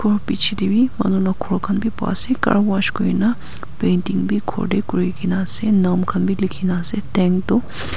bichae tae bi manu la ghor khan bi paase carwash kurna painting bi khor tae kurina ase nam khan bi likhikaena ase.